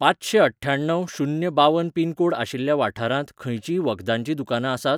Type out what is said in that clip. पाचंशेंअठ्ठ्याण्णव शून्य बावन pin code आशिल्ल्या वाठारांत खंयचींय वखदांचीं दुकानां आसात?